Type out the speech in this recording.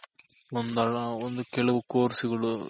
ಒಂದಲ್ಲ ಒಂದು ಕೆಲವ್ Course ಗಳು